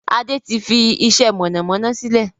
Adé tí fi iṣẹ́ mọ̀nàmọ́ná sílẹ̀